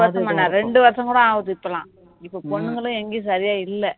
ஒரு வருஷம் என்ன இரண்டு வருஷம் கூட ஆகுது இப்போலாம் இப்போ பொண்ணுங்களே எங்கேயும் சரியா இல்ல